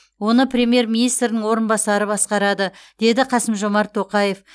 оны премьер министрдің орынбасары басқарады деді қасым жомарт тоқаев